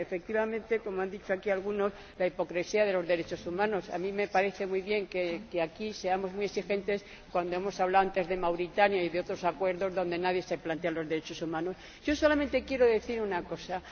Sí, efectivamente ―como han dicho aquí algunos―, la hipocresía de los derechos humanos. A mí me parece muy bien que aquí seamos muy exigentes, pero antes hemos hablado de Mauritania y de otros acuerdos en los que nadie se plantea los derechos humanos. Yo solamente quiero decir una cosa.